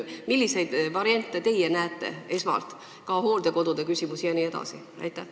Milliseid variante teie esmalt näete ka hooldekodude küsimuses jne?